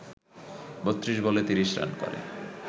৩২ বলে ৩০ রান করে